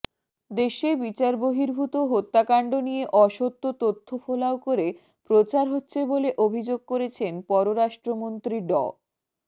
দেশে বিচারবহির্ভূত হত্যাকাণ্ড নিয়ে অসত্য তথ্য ফলাও করে প্রচার হচ্ছে বলে অভিযোগ করেছেন পররাষ্ট্রমন্ত্রী ড